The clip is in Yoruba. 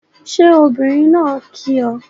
Ṣé obìnrin náà kí ọ?